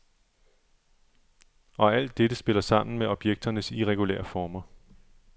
Og alt dette spiller sammen med objekternes irregulære former.